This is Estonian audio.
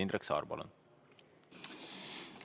Indrek Saar, palun!